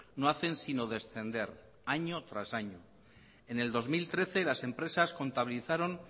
no hacen sino descender año tras año en el dos mil trece las empresas contabilizaron